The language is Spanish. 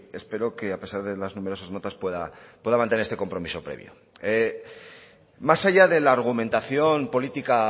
espero que a pesar de las numerosas notas pueda mantener este compromiso previo más allá de la argumentación política